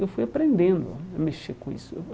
Eu fui aprendendo a a mexer com isso.